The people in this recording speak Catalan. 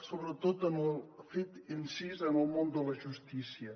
sobretot ha fet incís en el món de la justícia